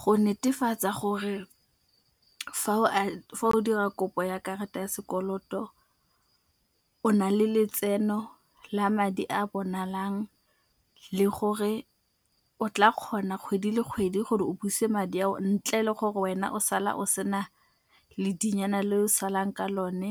Go netefatsa gore fa o dira kopo ya karata ya sekoloto o na le letseno la madi a bonalang le gore o tla kgona kgwedi le kgwedi gore o buse madi ao ntle le gore wena o sala o sena ledinyana le o salang ka lone.